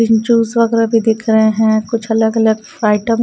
यहाँ ज्यूस वगैर दिख रहे हैं कुछ अलग-अलग फ्राई आइटम ।